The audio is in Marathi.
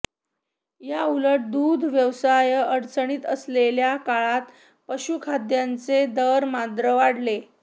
याउलट दूध व्यवसाय अडचणीत असलेल्या काळात पशुखाद्याचे दर मात्र वाढले